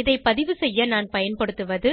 இதை பதிவுசெய்ய நான் பயன்படுத்துவது